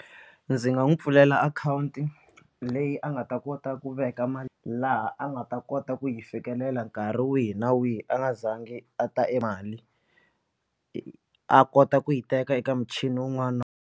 Ndzi nga n'wu pfulela akhawunti leyi a nga ta kota ku veka mali laha a nga ta kota ku yi fikelela nkarhi wihi na wihi a nga za ngi a ta e mali a kota ku yi teka eka michini wun'wana na wun'wana.